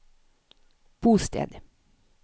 bosted